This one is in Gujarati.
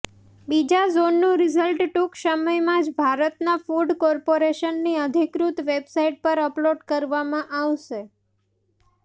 બીજા ઝોનનું રિઝલ્ટ ટૂંક સમયમાં જ ભારતના ફૂડ કોર્પોરેશનની અધિકૃત વેબસાઇટ પર અપલોડ કરવામાં આવશે